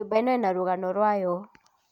Nyũmba ĩno ĩna rũgano rwayo